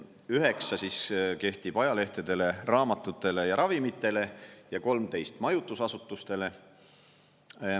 9% kehtib ajalehtedele, raamatutele ja ravimitele ja 13% majutusasutustele.